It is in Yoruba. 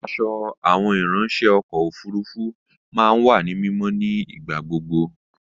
Aṣọ àwọn ìráńṣẹ́ ọkọ̀ òfurufú máa ń wà ní mímọ́ nígbà gbogbo